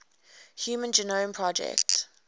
human genome project